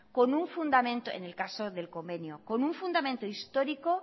en el caso del convenio con un fundamento histórico